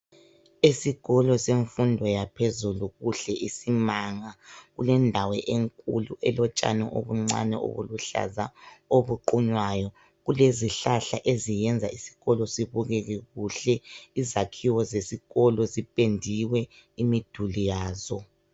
Esikolo semfundo yaphezulu kuhle isimanga. Kulendawo enkulu elotshani obuncane obuluhlaza obuqunywayo, kuzihlahla eziyenza isikolo sibukeke kuhle. Izakhiwo zesikolo zipendiwe imiduli yazo.